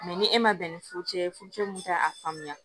ni e man bɛn ni furu cɛ ye furucɛ mun tɛ a faamuya